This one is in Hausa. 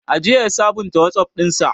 Ajiya ya sabunta Wazaf ɗinsa.